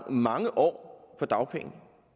mange år på dagpenge